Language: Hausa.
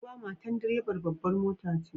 Duba! matar direban babbar mota ce.